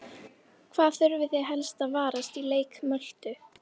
Hvað þurfið þið helst að varast í leik Möltu?